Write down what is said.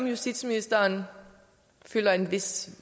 justitsministeren føler en vis